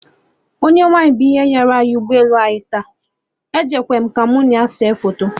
Onye nwaanyị bụ ihe nyara ụgbọ elu anyị taa! Ejekwa mụ ka mụ na ya see foto